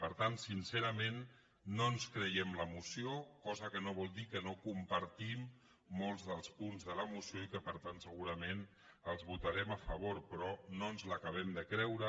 per tant sincerament no ens creiem la moció cosa que no vol dir que no compartim molts dels punts de la moció i que per tant segurament els votarem a favor però no ens l’acabem de creure